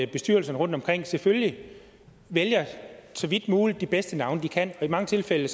bestyrelserne rundtomkring selvfølgelig så vidt muligt vælger de bedste navne de kan og i mange tilfælde